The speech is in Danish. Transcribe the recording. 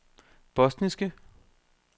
bosniske